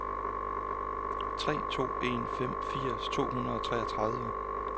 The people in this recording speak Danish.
tre to en fem firs to hundrede og toogtredive